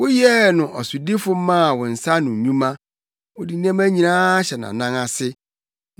Woyɛɛ no ɔsodifo maa wo nsa ano nnwuma wode nneɛma nyinaa ahyɛ nʼanan ase: